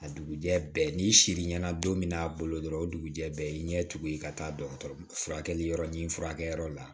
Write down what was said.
A dugujɛ n'i siri ɲana don min n'a bolo dɔrɔn o dugujɛ bɛɛ y'i ɲɛ tugun i ka taa dɔgɔtɔrɔ furakɛliyɔrɔ ɲini furakɛyɔrɔ la